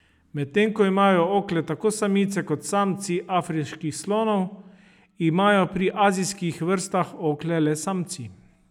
Medtem ko imajo okle tako samice kot samci afriških slonov, imajo pri azijskih vrstah okle le samci.